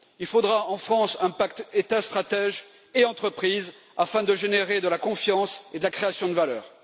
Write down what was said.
Il faudra en France un pacte État stratège et entreprises afin de générer de la confiance et de favoriser la création de valeur.